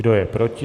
Kdo je proti?